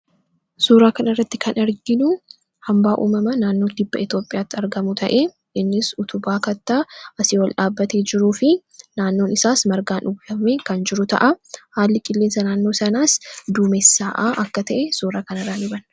suuraa kan irratti kan arginu hambaa uumama naannoo kibba Itiyoophiyaatti argamu ta'e innis utubaa kattaa asii wal dhaabatee jiruu fi naannoon isaas margaan uwwifame kan jiruu ta'a. haalli qilleensa naannoo sanaas duumessaa'aa akka ta'e suuraa kan irraa ni hubanna.